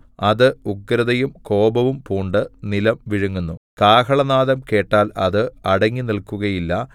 അത് ഉഗ്രതയും കോപവും പൂണ്ട് നിലം വിഴുങ്ങുന്നു കാഹളനാദം കേട്ടാൽ അത് അടങ്ങിനില്ക്കുകയില്ല